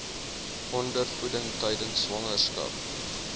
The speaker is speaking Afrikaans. ondervoeding tydens swangerskap